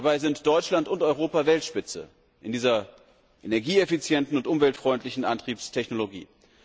Dabei sind Deutschland und Europa Weltspitze in dieser energieeffizienten und umweltfreundlichen Antriebstechnologie.